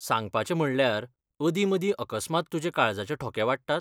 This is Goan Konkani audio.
सांगपाचें म्हणल्यार, अदी मदीं अकस्मात तुजे काळजाचे ठोके वाडटात?